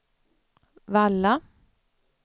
Valla